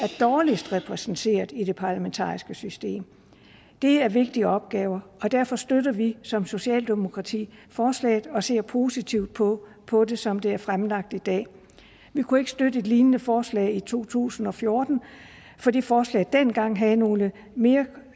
dårligst repræsenteret i det parlamentariske system det er vigtige opgaver og derfor støtter vi som socialdemokrati forslaget og ser positivt på på det som det er fremsat i dag vi kunne ikke støtte et lignende forslag i to tusind og fjorten fordi forslaget dengang havde nogle mere